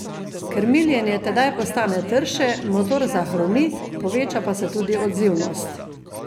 Krmiljenje tedaj postane trše, motor zahrumi, poveča pa se tudi odzivnost.